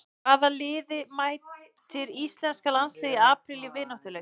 Hvaða liði mætir Íslenska landsliðið í apríl í vináttuleik?